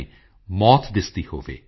you your mind and heart